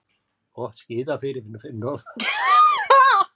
Gott skíðafæri fyrir norðan